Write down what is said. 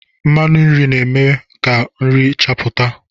Mmanụ nri na-eme ka nri chapụta.